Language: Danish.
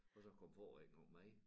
Og så kom far ikke engang med